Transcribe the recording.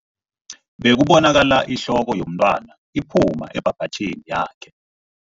Bekubonakala ihloko yomntwana iphuma ebhabhatjhini yakhe.